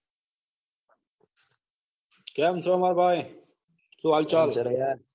કેમ છો. માર ભાઈ સુ હાલચાલ